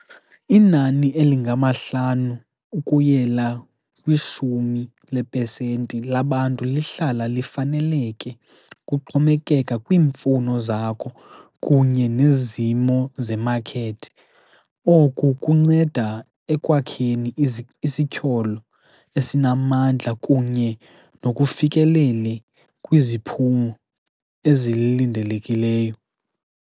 Inani elingamahlanu ukuyela kwishumi lepesenti labantu lihlala lifaneleke kuxhomekeka kwiimfuno zakho kunye nezimo zemakhethi. Oku kunceda ekwakheni isityholo esinamandla kunye nokufikelele kwiziphumo ezilindelekileyo.